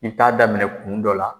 I bi taa daminɛ kun dɔ la